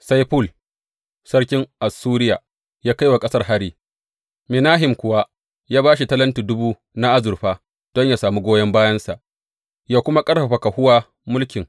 Sai Ful sarkin Assuriya ya kai wa ƙasar hari, Menahem kuwa ya ba shi talenti dubu na azurfa don yă sami goyon bayansa, yă kuma ƙarfafa kahuwa mulkin.